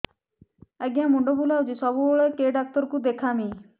ଆଜ୍ଞା ମୁଣ୍ଡ ବୁଲାଉଛି ସବୁବେଳେ କେ ଡାକ୍ତର କୁ ଦେଖାମି